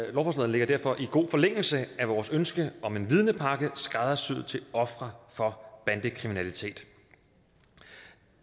ligger derfor i god forlængelse af vores ønske om en vidnepakke skræddersyet til ofre for bandekriminalitet